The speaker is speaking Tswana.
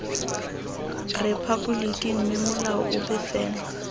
rephaboliki mme molao ope fela